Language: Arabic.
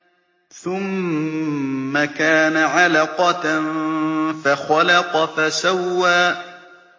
ثُمَّ كَانَ عَلَقَةً فَخَلَقَ فَسَوَّىٰ